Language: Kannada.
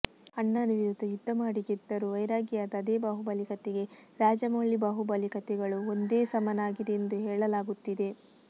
ಅಣ್ಣನ ವಿರುದ್ಧ ಯುದ್ಧಮಾಡಿ ಗೆದ್ದರೂ ವೈರಾಗಿಯಾದ ಅದೇ ಬಾಹುಬಲಿ ಕಥೆಗೆ ರಾಜಮೌಳಿ ಬಾಹುಬಲಿ ಕಥೆಗಳು ಒಂದೇ ಸಮನಾಗಿದೆ ಎಂದು ಹೇಳಲಾಗುತ್ತಿದೆ